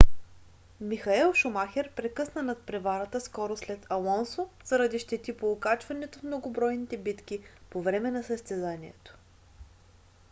михаел шумахер прекъсна надпреварата скоро след алонсо заради щети по окачването в многобройните битки по време на състезанието